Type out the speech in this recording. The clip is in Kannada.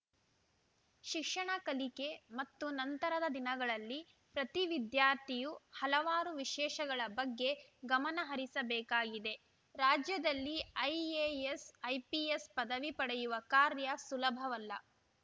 ಶಿಕ್ಷಣ ಕಲಿಕೆ ಮತ್ತು ನಂತರದ ದಿನಗಳಲ್ಲಿ ಪ್ರತಿ ವಿದ್ಯಾರ್ಥಿಯೂ ಹಲವಾರು ವಿಷಯಗಳ ಬಗ್ಗೆ ಗಮನಹರಿಸಬೇಕಾಗಿದೆ ರಾಜ್ಯದಲ್ಲಿ ಐಎಎಸ್‌ ಐಪಿಎಸ್‌ ಪದವಿ ಪಡೆಯುವ ಕಾರ್ಯ ಸುಲಭವಲ್ಲ